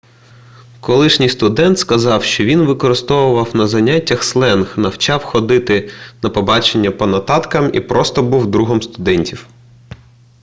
колишній студент сказав що він використовував на заняттях сленг навчав ходити на побачення по нотаткам і просто був другом студентів